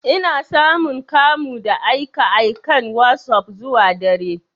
Ina samun kamu da aika aikan wasop zuwa dare.